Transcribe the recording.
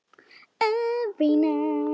Hvað kemur mér það við?